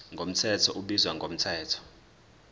mthetho ubizwa ngomthetho